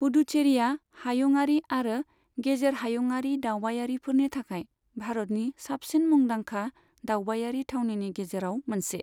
पुडुचेरीआ हायुंआरि आरो गेजेर हायुंआरि दावबायारिफोरनि थाखाय भारतनि साबसिन मुंदांखा दावबायारि थावनिनि गेजेराव मोनसे।